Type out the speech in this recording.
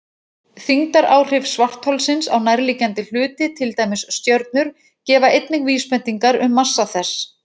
Þyngdaráhrif svartholsins á nærliggjandi hluti, til dæmis stjörnur, gefa einnig vísbendingar um massa þess.